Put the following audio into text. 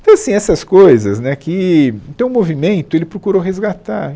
Então, assim, essas coisas né que... Então, o movimento, ele procurou resgatar.